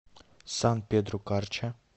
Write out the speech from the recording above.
сан педро карча